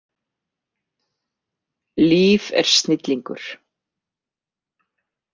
Líf er snillingur.